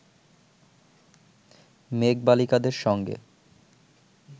মেঘবালিকাদের সঙ্গে